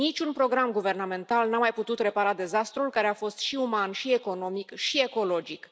Niciun program guvernamental nu a mai putut repara dezastrul care a fost și uman și economic și ecologic.